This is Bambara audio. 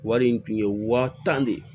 Wari in tun ye wa tan de ye